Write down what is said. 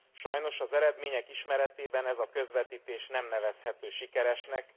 Sajnos az eredmények ismeretében ez a közvetítés nem nevezhető sikeresnek.